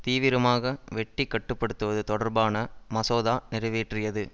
தீவிரமாக வெட்டி கட்டுபடுத்துவது தொடர்பான மசோதா நிறைவேற்றியது